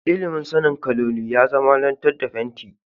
Ilimin sanin kaloli ya zamanantar da fenti.